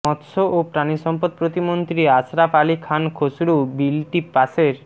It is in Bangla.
মৎস্য ও প্রাণিসম্পদ প্রতিমন্ত্রী আশরাফ আলী খান খসরু বিলটি পাসের